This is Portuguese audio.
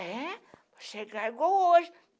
É, vai chegar igual hoje.